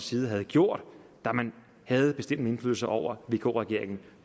side havde gjort da man havde bestemmende indflydelse over vk regeringen